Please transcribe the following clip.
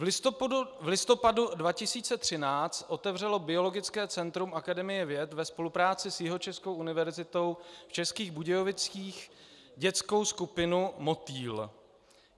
V listopadu 2013 otevřelo Biologické centrum Akademie věd ve spolupráci s Jihočeskou univerzitou v Českých Budějovicích dětskou skupinu Motýl.